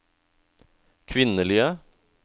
kvinnelige